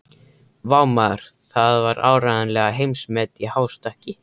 Vá, maður, það var áreiðanlega heimsmet í hástökki.